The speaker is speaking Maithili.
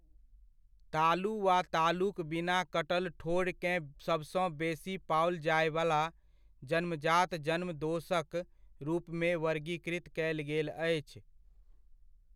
तालु वा तालुक बिना कटल ठोढ़केँ सबसँ बेसी पाओल जायवला जन्मजात जन्म दोषक रूपमे वर्गीकृत कयल गेल अछि।